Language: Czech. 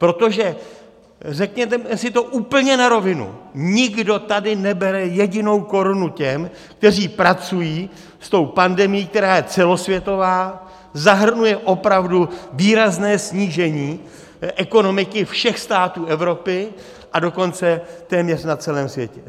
Protože řekněme si to úplně na rovinu, nikdo tady nebere jedinou korunu těm, kteří pracují s tou pandemií, která je celosvětová, zahrnuje opravdu výrazné snížení ekonomiky všech států Evropy, a dokonce téměř na celém světě.